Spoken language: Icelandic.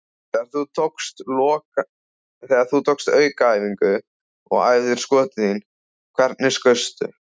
Þegar þú tókst aukaæfingar og æfðir skotin þín, hvernig skaustu?